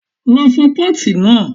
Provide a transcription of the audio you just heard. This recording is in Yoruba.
Lọ fọ pọ́ọ̀tì náà!